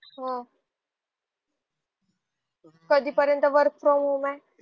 हो कधी पर्यंत work from home आहे